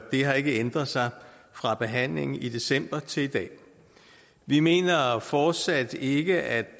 har ikke ændret sig fra behandlingen i december til i dag vi mener fortsat ikke at